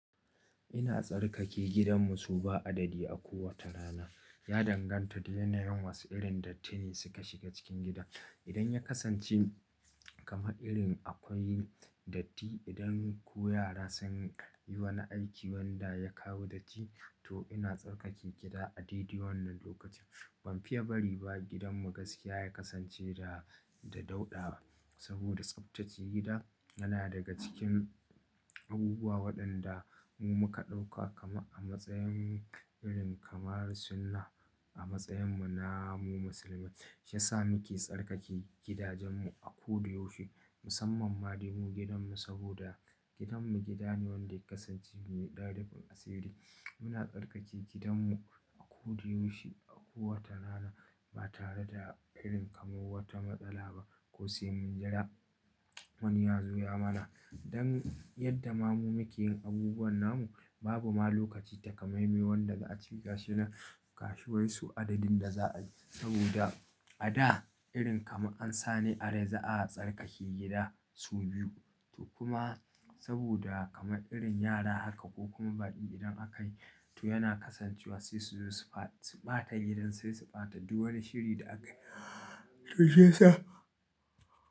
Ina tsarkake gidanmu so ba adadi a kowace rana. Ya danganta da yanayin wasu irin dattini suka shiga cikin gida. Idan ya kasance kamar irin akwai datti, idan ko yara sun yi wani aiki wanda ya kawo datti, to ina tsarkake gida a daidai wannan lokaci. Ban fiye bari ba gidanmu gaskiya ya kasance da, da dauɗa. Saboda tsaftace gida yana daga cikin abubuwa waɗanda mu muka ɗauka kamar a matsayin irin kamar sunnah a matsayin mu na mu musulmai. Shi yasa muke tsarkake gidajenmu a koda yaushe. Musamman ma, dai mu gidanmu saboda gidanmu gida ne wanda ya kasance mai ɗan rufin asiri. Muna tsarkake gidanmu a koyaushe, a kowace rana ba tare da irin kamar wata matsala ba. Ko sai mun jira wani ya zo ya mana. Don yadda ma mu muke yin abubuwan namu, babu ma lokaci takamaime wanda za a ce gashi nan gashi wai sau adadin da za'a je. Saboda a da irin kamar ansane a rai za'a tsarkake gida sau biyu. To kuma saboda kamar irin yara haka ko kuma baƙi idan aka yi, to yana kasancewa sai su zo su ɓata gidan, sai su ɓata duk wani shiri da aka yi. To shi ya sa.